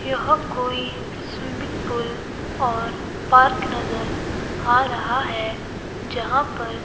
यह कोई swimming pool और पार्क नजर आ रहा है जहां पर--